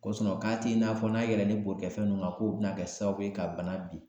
Ko k'a t'i n'a fɔ n'a y'a yilɛlen bolikɛfɛn ninnu kan, k'u bina kɛ sababu ye ka bana binaa.